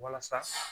Walasa